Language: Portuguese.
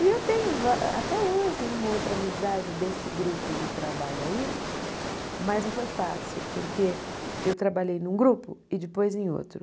E eu tenho va até hoje uma outra amizade desse grupo de trabalho aí, mas não foi fácil, porque eu trabalhei num grupo e depois em outro.